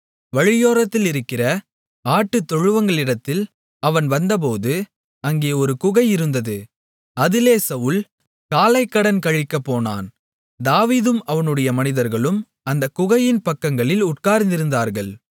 வழியோரத்திலிருக்கிற ஆட்டுத்தொழுவங்களிடத்தில் அவன் வந்தபோது அங்கே ஒரு குகை இருந்தது அதிலே சவுல் காலைக்கடன் கழிக்கப்போனான் தாவீதும் அவனுடைய மனிதர்களும் அந்தக் குகையின் பக்கங்களில் உட்கார்ந்திருந்தார்கள்